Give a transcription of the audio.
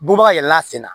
Bɔbaga yɛlɛla sen na